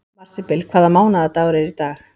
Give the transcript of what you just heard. Marsibil, hvaða mánaðardagur er í dag?